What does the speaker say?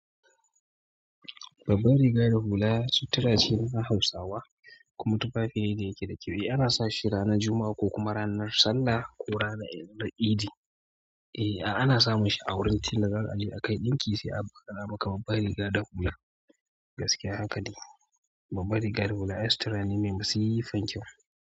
Babbar riga da hula sutura ce na Hausawa kuma tufafi ne kira-kiri. Ana sa shi ranar Juma'a ko kuma ranar Sallah ko ranar Eid. E, a ana samun shi a wurin tela za ka je a kai ɗinki sai a ba ka babbar riga da hula. Gaskiya haka dai, babbar riga da hula ai sutura ne mai masifar kyau.